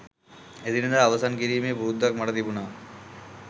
එදිනෙදා අවසන් කිරීමේ පුරුද්දක් මට තිබුණා